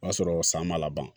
O y'a sɔrɔ san ma laban